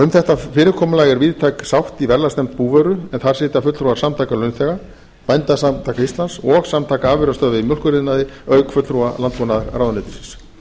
um þetta er víðtæk sátt í verðlagsnefnd búvöru en þar sitja fulltrúar samtaka launþega bændasamtaka íslands og samtaka afurðastöðva í mjólkuriðnaði auk fulltrúa landbúnaðarráðuneytisins